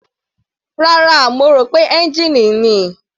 Rárá, mo rò pé ẹ́ngìnì ni.